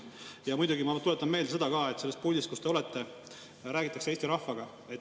Ja muidugi ma tuletan meelde seda, et sellest puldist, kus te olete, räägitakse Eesti rahvaga.